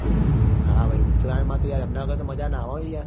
હા ભાઈ ઉતરાયણ માં તો યાર એમના વગર તો મજા ની આવે હો યાર હા